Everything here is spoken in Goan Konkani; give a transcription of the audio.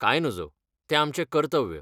कांय नजो, तें आमचें कर्तव्य.